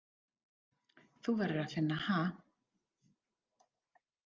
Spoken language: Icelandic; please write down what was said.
Þú verður að finna ha.